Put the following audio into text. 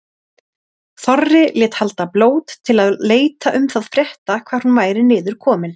Þorri lét halda blót til að leita um það frétta hvar hún væri niður komin.